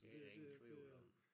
Det der ingen tvivl om